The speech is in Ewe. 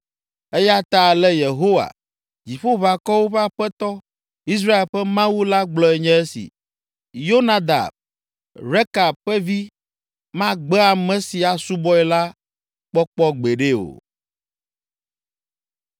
Eya ta ale Yehowa, Dziƒoʋakɔwo ƒe Aƒetɔ, Israel ƒe Mawu la gblɔe nye esi: ‘Yonadab, Rekab ƒe vi magbe ame si asubɔe la kpɔkpɔ gbeɖe o.’ ”